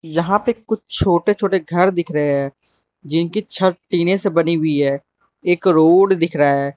जहां पे कुछ छोटे छोटे घर दिख रहे हैं जिनकी छत टीने से बनी हुई है एक रोड दिख रहा है।